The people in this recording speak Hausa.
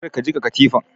Kar ka jiƙa katifan!